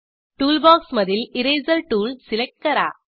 टूलबॉक्समधील eraser tool select करा